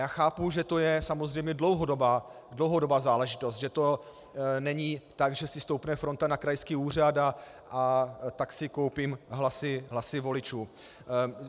Já chápu, že to je samozřejmě dlouhodobá záležitost, že to není tak, že si stoupne fronta na krajský úřad a tak si koupím hlasy voličů.